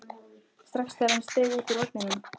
strax þegar hann steig út úr vagninum.